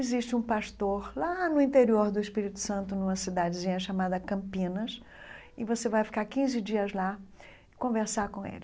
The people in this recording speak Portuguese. Existe um pastor lá no interior do Espírito Santo, numa cidadezinha chamada Campinas, e você vai ficar quinze dias lá, conversar com ele.